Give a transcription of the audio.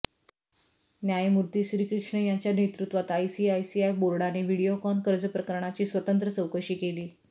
न्यायमूर्ती श्रीकृष्ण यांच्या नेतृत्त्वात आयसीआयसीआय बोर्डाने व्हिडीओकॉन कर्ज प्रकरणाची स्वतंत्र चौकशी केली